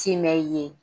Timɛn ye